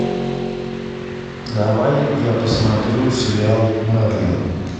давай я посмотрю сериал мерлин